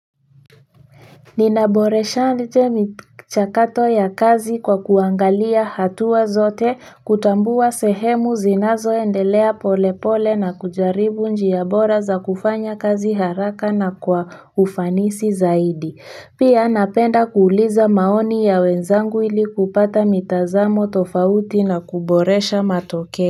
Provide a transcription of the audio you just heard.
Ninaboresha aje michakato ya kazi kwa kuangalia hatua zote kutambua sehemu zinazo endelea pole pole na kujaribu njia bora za kufanya kazi haraka na kwa ufanisi zaidi pia napenda kuuliza maoni ya wenzangu ili kupata mitazamo tofauti na kuboresha matokeo.